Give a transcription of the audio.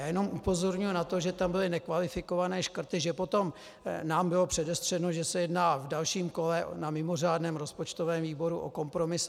Já jenom upozorňuji na to, že tam byly nekvalifikované škrty, že potom nám bylo předestřeno, že se jedná v dalším kole na mimořádném rozpočtovém výboru o kompromis.